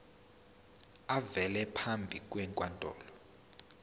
avele phambi kwenkantolo